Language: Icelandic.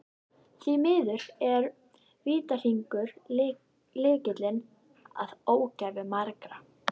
Því miður er vítahringur lykillinn að ógæfu margra.